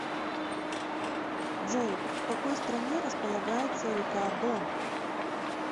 джой в какой стране располагается река дон